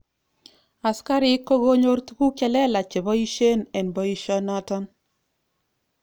Asikarik kokonyor tuguk chelelach cheboishen eng boisho noton.